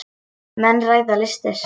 Menn ræða listir.